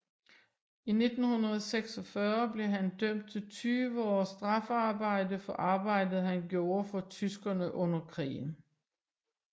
I 1946 blev han dømt til 20 års straffearbejde for arbejdet han gjorde for tyskerne under krigen